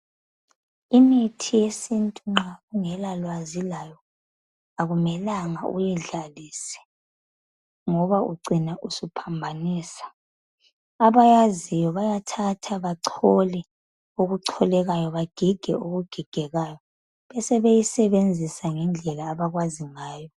Imithi yesintu nxa ungelalwazi layo kakumelanga uyidlalise ngoba ucina uohambanisa, Abayaziyo bayathatha bagige okugigegekayo. Bachole okuchokekayo. Basebeyisebenzisa ngendlela abakwazi ngayo.